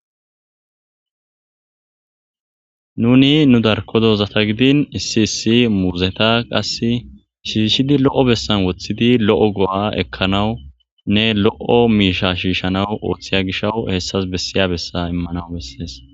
nuni nu darko dozata gidin issi issi muuzeta qass shiishshidi lo7o bessan woththidi lo7o go7a ekkanawu ne lo7o miisha shiishanawu ooththiya gishawu hessas bessiya bessa immanawu bessees